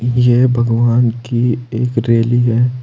यह भगवान की एक रैली है।